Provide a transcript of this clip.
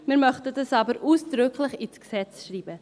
Wir möchten es aber ausdrücklich ins Gesetz schreiben.